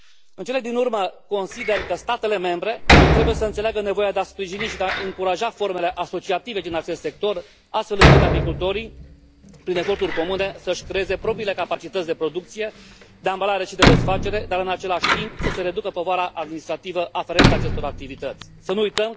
În cele din urmă, consider că statele membre trebuie să înțeleagă nevoia de a sprijini și de a încuraja formele asociative din acest sector, astfel încât apicultorii, prin eforturi comune, să își creeze propriile capacități de producție, de ambalare și de desfacere, dar în același timp, să se reducă povara administrativă aferentă acestor activități. Să nu uităm că, salvând albinele, salvăm omenirea.